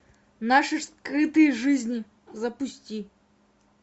наши скрытые жизни запусти